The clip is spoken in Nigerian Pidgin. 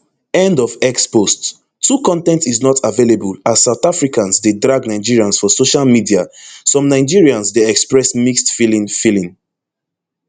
end of x post two con ten t is not available as south africans dey drag nigerians for social media some nigerians dey express mixed feeling feeling